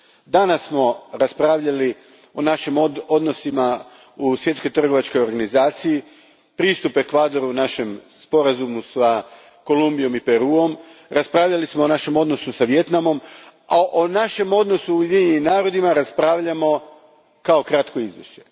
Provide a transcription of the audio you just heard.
Danas smo raspravljali o našim odnosima u Svjetskoj trgovačkoj organizaciji, pristupu Ekvadoru našem Sporazumu s Kolumbijom i Peruom, raspravljali smo o našem odnosu s Vijetnamom, a o našem odnosu s Ujedinjenim narodima raspravljamo u okviru kratkog izvješća.